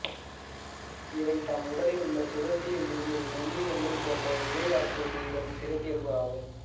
இவை தம் உடலில் உள்ள சுரப்பியில் இருந்து மெல்லிய நூல் போன்ற இழை ஆக்குவது இதன் சிறப்பியல்பு ஆகும்